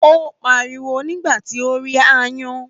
Ó pariwo nígbà tí ó rí aáyán